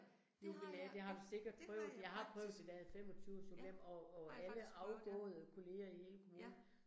Nu vi er, det har du sikket prøvet, jeg har prøvet at være 25 års jubilæum, og og alle afgåede kollegaer i hele kommunen